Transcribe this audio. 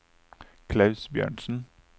Klaus Bjørnsen